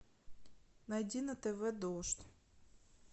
найди на тв дождь